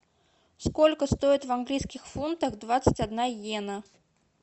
сколько стоит в английских фунтах двадцать одна йена